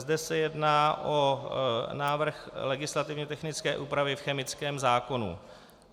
Zde se jedná o návrh legislativně technické úpravy v chemickém zákonu.